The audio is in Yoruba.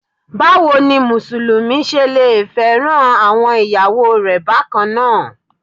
Báwo ni Mùsùlùmí ṣe lẹ fẹ́ràn àwọn ìyàwó rẹ̀ bákannáà.